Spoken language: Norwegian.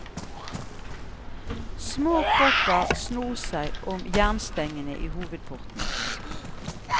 Små kropper snor seg om jernstengene i hovedporten.